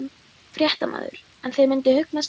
Fréttamaður: En þér myndi hugnast það?